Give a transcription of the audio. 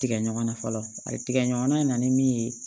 Tigɛ ɲɔgɔnna fɔlɔ ayi tigɛ ɲɔgɔnna in na ni min ye